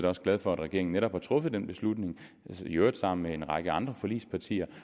glad for at regeringen netop har truffet den beslutning i øvrigt sammen med en række andre forligspartier